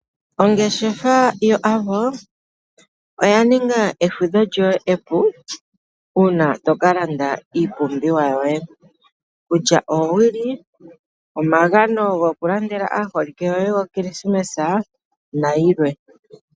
Ongeshefa yo Avo oya ninga efudho lyoe epu, uuna toka landa iipumbiwa yoe, kutya oowili, omagano goku landela aaholike yoye go kilisimesa, nayilwe.